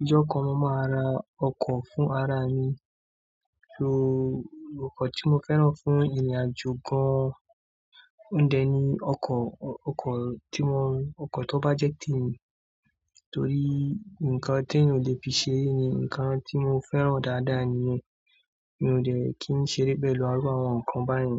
Ìjọ kọ̀n mo máa ra ọkọ̀ fún ara mi. So ọkọ̀ tí mo fẹ́ràn fún ìrìnàjò gan-an jù oun deni ọkọ̀, ọkọ̀ tí mo, ọkọ̀ tó bá jẹ́ tí èmi. Torí nǹkan tí ẹyan ò lè fi ṣeré ní nǹkan tí mo fẹ́ràn dáadáa nìyẹn. Mi ò dẹ̀ kí ń ṣeré pẹ̀lú irú àwọn nǹkan báyìí.